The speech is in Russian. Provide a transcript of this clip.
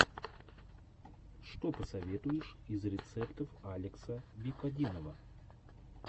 что посоветуешь из рецептов алекса викодинова